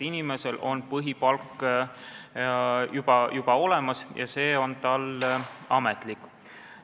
Inimesel on põhipalk olemas, see on tal ametlik.